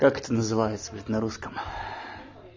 как это называется ведь на русском